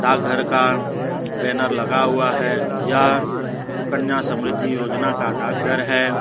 आ घर का बैनर लगा हुआ है यह सुकन्या समृद्धि योजना का डाकघर है।